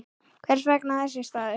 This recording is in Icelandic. Hvers vegna þessi staður?